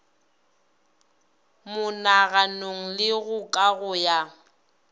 monaganong le go kago ya